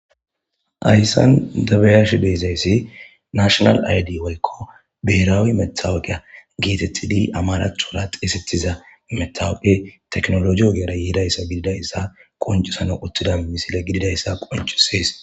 Hayisan dabeyash deezayssi nashonal aydi woykko beraawi methawuqeya geetettidi amarathora teesetiza metawuqe tekinoloje ogeara yeidayssa gididayssa qoncusano uttida misile gididayssa qoncusees